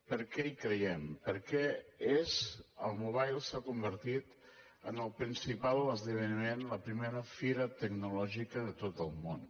per què hi creiem perquè és el mobile s’ha convertit en el principal esdeveniment la primera fira tecnològica de tot el món